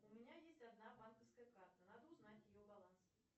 у меня есть одна банковская карта надо узнать ее баланс